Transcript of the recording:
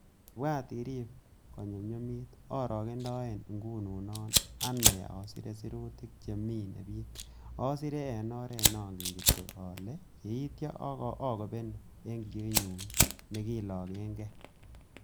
Ibwat irib ko nyumyumit, orogendoen ngununon ane asire sirutik che mine bik, asire en oret nongen kityok ak yeityo akobenu en kiyoinyun ne kilochen gee.